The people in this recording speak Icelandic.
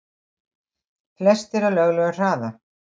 Flestir á löglegum hraða